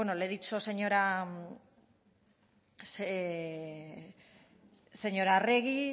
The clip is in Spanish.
le he dicho señora arregi